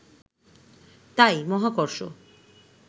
তাই মহাকর্ষ